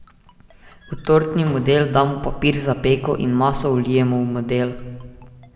V tortni model damo papir za peko in maso vlijemo v model.